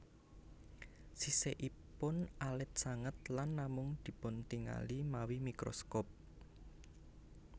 Sisikipun alit sanget lan namung dipuntingali mawi mikroskop